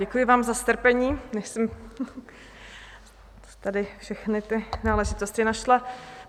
Děkuji vám za strpení, než jsem tady všechny ty náležitosti našla.